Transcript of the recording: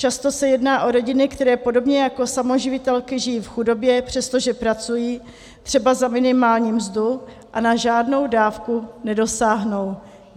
Často se jedná o rodiny, které podobně jako samoživitelky žijí v chudobě, přestože pracují, třeba za minimální mzdu, a na žádnou dávku nedosáhnou.